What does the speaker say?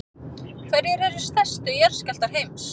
hverjir eru stærstu jarðskjálftar heims